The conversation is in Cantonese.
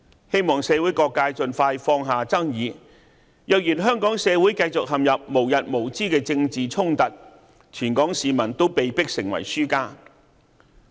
希望社會各界盡快放下爭議，若然香港社會繼續陷入無日無之的政治衝突，全港市民都被迫成為輸家。